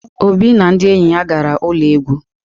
Obi na ndi enyi ya gara ulo egwu.